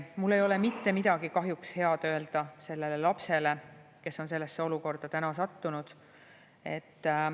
Mul ei ole kahjuks mitte midagi head öelda sellele lapsele, kes on sellesse olukorda sattunud.